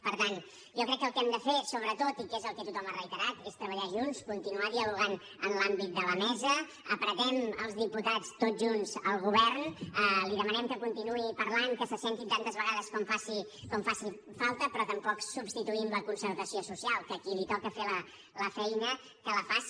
per tant jo crec que el que hem de fer sobretot i és el que tothom ha reiterat és treballar junts continuar dialogant en l’àmbit de la mesa apretem els diputats tots junts al govern li demanem que continuï parlant que s’asseguin tantes vegades com faci falta però tampoc substituïm la concertació social que a qui li toca fer la feina que la faci